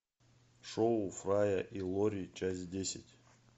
шоу фрая и лори часть десять